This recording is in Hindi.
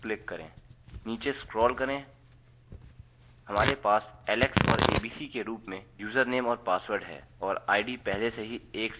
नीचे स्क्रोल करें हमारे पास alex और abc के रूप में यूजरनेम और पासवर्ड है और id पहले से ही 1 सेट की हुई है